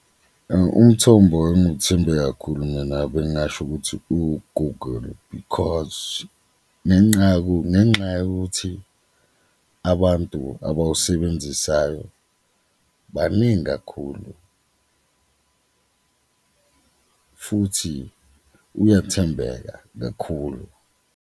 Umthombo enguwuthembe kakhulu mina bengasho ukuthi uwu-Google because kungenxa yokuthi abantu abawusebenzisayo baningi kakhulu futhi uyathembeka kakhulu.